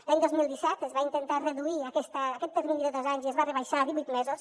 l’any dos mil disset es va intentar reduir aquest termini de dos anys i es va rebaixar a divuit mesos